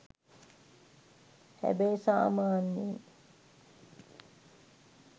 හැබැයි සමාන්‍යයෙන්